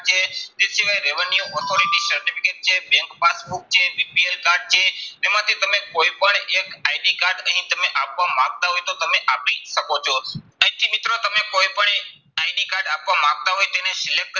તે સિવાય revenue authority certificate છે bank passbook છે BPL કાર્ડ છે, તેમાંથી તમે કોઈ પણ એક ID કાર્ડ અહીં તમે આપવા માંગતા હોય તો તમે આપી શકો છો. અહીંથી મિત્રો તમે કોઈ પણ એક ID કાર્ડ આપવા માંગતા હોય તો એને select કરી